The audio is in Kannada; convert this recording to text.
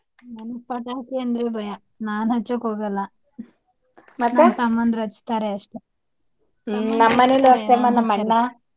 ನಂಗ ಪಟಾಕಿ ಅಂದ್ರೆ ಭಯ. ನಾನ್ ಹಚ್ಚೋಕ ಹೋಗಲ್ಲ ನನ್ ತಮ್ಮಂದರು ಹಚ್ಚತಾರೆ ಅಷ್ಟೇ .